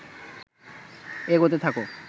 এগোতে থাক